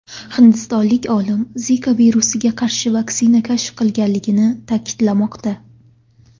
Hindistonlik olimlar Zika virusiga qarshi vaksina kashf qilinganligini ta’kidlamoqda.